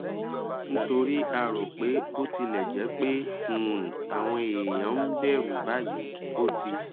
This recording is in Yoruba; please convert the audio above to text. nítorí a rò pé bó tilẹ jẹ pé um àwọn èèyàn ń bẹrù báyìí ó ti